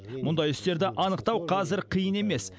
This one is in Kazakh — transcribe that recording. мұндай істерді анықтау қазір қиын емес